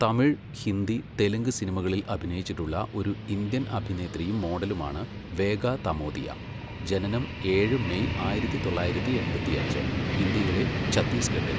തമിഴ്, ഹിന്ദി, തെലുങ്ക് സിനിമകളിൽ അഭിനയിച്ചിട്ടുള്ള ഒരു ഇന്ത്യൻ അഭിനേത്രിയും മോഡലുമാണ് വേഗ തമോതിയ, ജനനം ഏഴ് മെയ് ആയിരത്തി തൊള്ളായിരത്തി എണ്പത്തിയഞ്ച്, ഇന്ത്യയിലെ ഛത്തീസ്ഗഢിൽ.